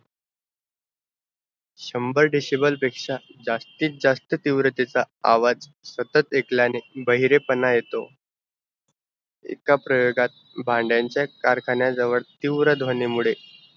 शंभर decible पेक्षा जास्तीत जास्त तिव्रतेचा आवाज़ सतत आयकल्याने बहिरेपना येत एका प्रयोगात भांड्यांचा कारखान्या जवळ तीव्र ध्वनी मुळे